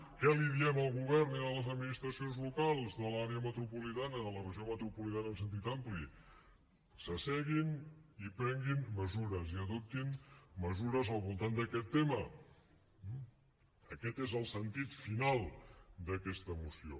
què diem al govern i a les administracions locals de l’àrea metropolitana de la regió metropolitana en sentit ampli s’asseguin i prenguin mesures i adoptin mesures al voltant d’aquest tema eh aquest és el sentit final d’aquesta moció